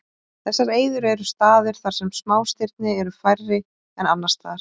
Þessar eyður eru staðir þar sem smástirni eru færri en annars staðar.